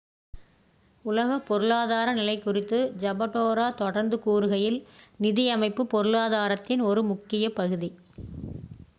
"உலக பொருளாதார நிலை குறித்து ஜபடேரோ தொடர்ந்து கூறுகையில் "நிதி அமைப்பு பொருளாதாரத்தின் ஒரு முக்கிய பகுதி.